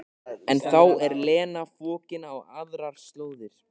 En þá er Lena fokin á aðrar slóðir.